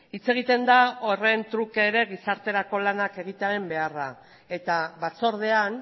hitz egiten da horren truke ere gizarterako lanak egitearen beharra eta batzordean